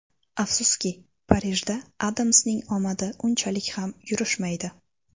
Afsuski, Parijda Adamsning omadi unchalik ham yurishmaydi.